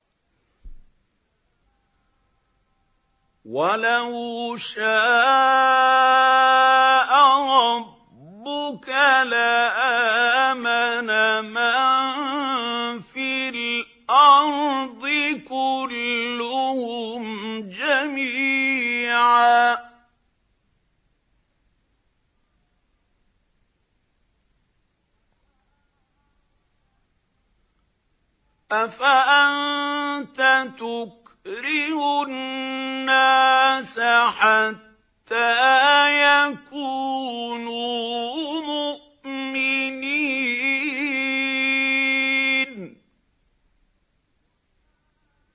وَلَوْ شَاءَ رَبُّكَ لَآمَنَ مَن فِي الْأَرْضِ كُلُّهُمْ جَمِيعًا ۚ أَفَأَنتَ تُكْرِهُ النَّاسَ حَتَّىٰ يَكُونُوا مُؤْمِنِينَ